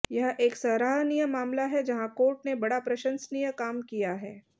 यह एक सराहनीय मामला है जहां कोर्ट ने बड़ा प्रशंसनीय काम किया है